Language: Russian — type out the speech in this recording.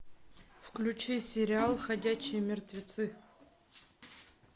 включи сериал ходячие мертвецы